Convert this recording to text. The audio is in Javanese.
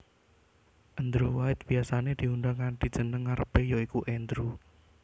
Andrew White biyasané diundang kanthi jeneng ngarepé ya iku Andrew